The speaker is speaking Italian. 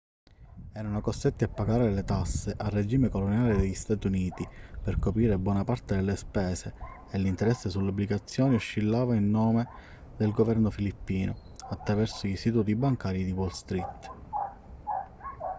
erano costretti a pagare le tasse al regime coloniale degli stati uniti per coprire buona parte delle spese e l'interesse sulle obbligazioni oscillava in nome del governo filippino attraverso gli istituti bancari di wall street